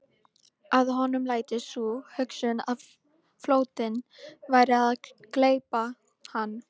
Að honum læddist sú hugsun að flóttinn væri að gleypa hann.